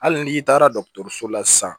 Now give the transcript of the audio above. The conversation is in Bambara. Hali n'i taara dɔgɔtɔrɔso la sisan